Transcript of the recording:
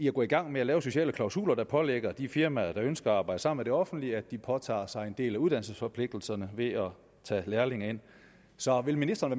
at gå i gang med at lave sociale klausuler der pålægger de firmaer der ønsker at arbejde sammen med det offentlige at de påtager sig en del af uddannelsesforpligtelserne ved at tage lærlinge ind så vil ministeren